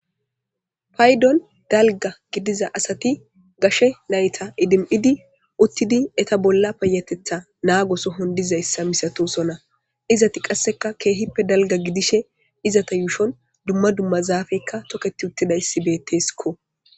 Payddon dalgga gidiza asati gashe nayta idimmidi uttidi eeta bolla payyatetha naago sohon dizayssa masatoosona. Izeti qasseka keehippe dalgga gidishin izeta yuushon dumma dumma toketi uttida zaafey beetteesko